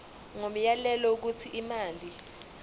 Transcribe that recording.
ngomyalelo wokuthi imali